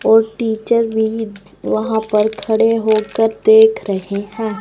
वो टीचर भी वहां पर खड़े होकर देख रहे हैं।